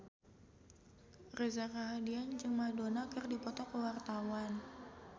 Reza Rahardian jeung Madonna keur dipoto ku wartawan